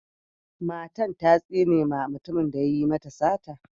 Matan ta tsine ma mutumin da ya yi mata sata.